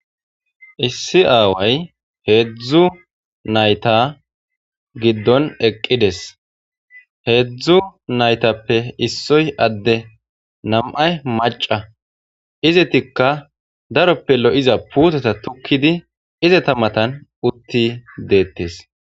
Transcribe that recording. issi aaway heedzdzu nayta giddon eqqides heedzdzu naytappe issoy adde nam7ay maca izetikka daroppe lo7iza puuteta tukkidi izeta matan utti deettes